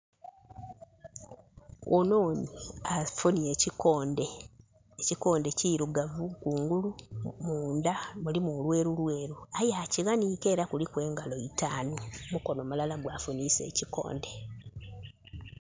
Ononhi afunye ekikonde. Ekikonde kirugavu kungulu munda mulimu lweru lweru aye akiwanike era kuliku engalo itaanu. Mukono mulala gwa funisa ekikonde